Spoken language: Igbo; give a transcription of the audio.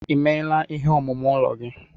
Emeela ihe omume ụlọ gị?